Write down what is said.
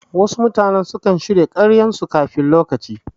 Wasu mutane sukan shirya karyan su kafin lokaci